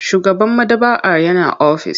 Shugaban maɗaba'ar yana ofis.